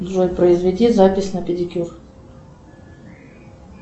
джой произведи запись на педикюр